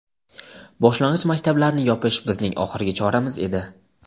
Boshlang‘ich maktablarni yopish bizning oxirgi choramiz edi.